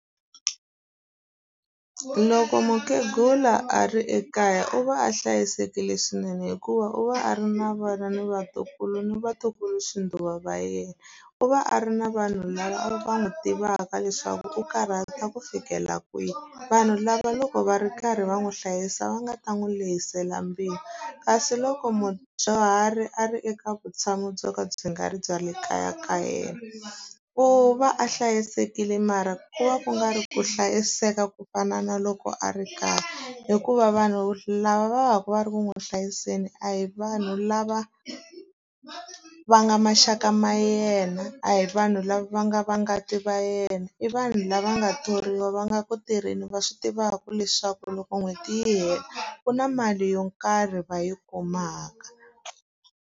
Loko mukhegula a ri ekaya u va a hlayisekile swinene hikuva u va a ri na vana ni vatukulu ni vatukulu xinduva va yena. U va a ri na vanhu lava va n'wi tivaka leswaku u karhata ku fikela kwihi, vanhu lava loko va ri karhi va n'wi hlayisa va nga ta n'wi rihisela mbilu. Kasi loko mudyuhari a ri eka vutshamo byo ka byi nga ri bya le kaya ka yena, u va a hlayisekile mara ku va ku nga ri ku hlayiseka ku ku fana na loko a ri kaya. Hikuva vanhu lava va va ka va ri ku n'wi hlayiseni a hi vanhu lava va nga maxaka ma yena, a hi vanhu lava va nga va ngati va yena. I vanhu lava nga thoriwa, va nga ku tirheni, va swi tivaka leswaku loko n'hweti yi hela ku na mali yo karhi va yi kumaka.